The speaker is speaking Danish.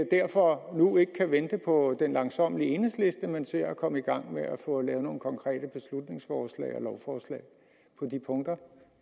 derfor nu ikke kan vente på den langsommelige enhedsliste men vil se at komme gang med at få lavet nogle konkrete beslutningsforslag og lovforslag om de punkter